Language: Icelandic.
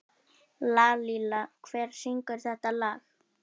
Lalíla, hver syngur þetta lag?